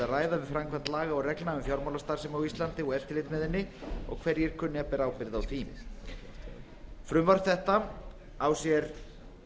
ræða við framkvæmd laga og reglna um fjármálastarfsemi á íslandi og eftirlit með henni og hverjir kunni að bera ábyrgð á því frumvarp þetta á sér